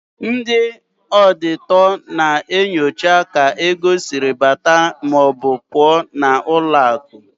Ndị ọọdịtọ na-enyocha ka ego siri bata maọbụ pụọ n'ụlọakụ.